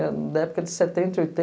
Da época de setenta, oitenta...